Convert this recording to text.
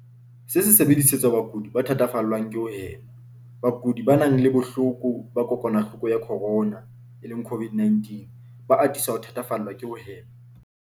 Se sebedisetswa bakudi ba thatafallwang ke ho hema. Bakudi ba nang le bohloko ba kokwanahloko ya corona, CO-VID-19, ba atisa ho thatafallwa ke ho hema.